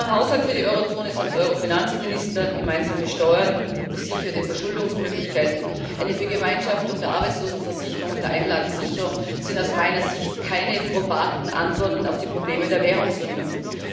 Ein gemeinsamer Haushalt für die Eurozone samt Euro Finanzminister, gemeinsame Steuern und besicherte Verschuldungsmöglichkeiten, eine Vergemeinschaftung der Arbeitslosenversicherung und der Einlagensicherung sind aus meiner Sicht keine probaten Antworten auf die Probleme der Währungsunion.